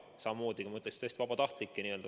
Samamoodi, ma ütleks tõesti, vabatahtlikke.